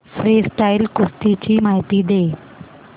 freestyle कुस्ती ची माहिती दे